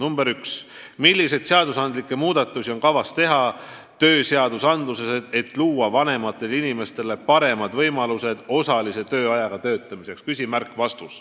Number üks: "Milliseid seadusandlikke muudatusi on kavas teha tööseadusandluses, et luua vanematele inimestele paremad võimalused osalise tööajaga töötamiseks?